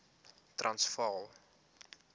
transvaal